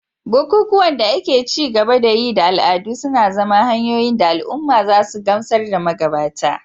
Bukukuwan da ake ci gaba da yi da al'adu suna zama hanyoyin da al'umma za su gamsar da magabata